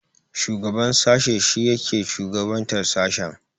Shugaban sashe shine yake shugabantar sashen.